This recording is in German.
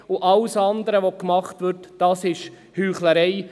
Alles andere, was gemacht wird, ist Heuchlerei.